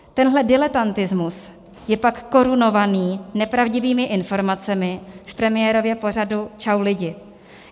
Tenhle diletantismus je pak korunovaný nepravdivými informacemi v premiérově pořadu Čau lidi.